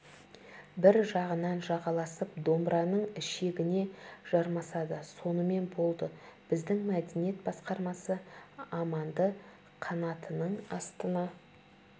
бір жағынан жағаласып домбыраның ішегіне жармасады сонымен болды біздің мәдениет басқармасы аманды қанатының астына